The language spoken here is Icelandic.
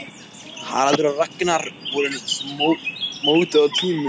Haraldur og Ragnhildur voru mótuð á tímum